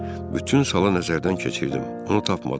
Bütün sala nəzərdən keçirdim, onu tapmadım.